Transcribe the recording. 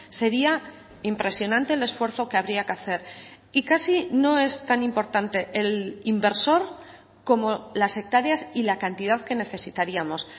sería impresionante el esfuerzo que habría que hacer y casi no es tan importante el inversor como las hectáreas y la cantidad que necesitaríamos